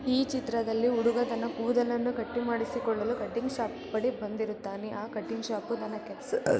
ಈ ಚಿತ್ರದಲ್ಲಿ ಹುಡುಗ ತನ್ನ ಕೂದಲನ್ನು ಕಟ್ಟು ಮಾಡಿಸಿಕೊಳ್ಳಲು ಕಟ್ಟಿಂಗ್ ಶಾಪ್ ಬಳಿ ಬಂದಿರುತ್ತಾನೆ ಆ ಕಟಿಂಗ್ ಶಾಪು ತನ್ನ ಕೆಲಸ --